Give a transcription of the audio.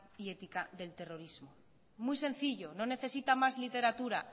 y ética de terrorismo muy sencillo no necesita más literatura